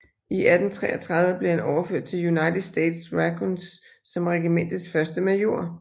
I 1833 blev han overført til United States Dragoons som regimentets første major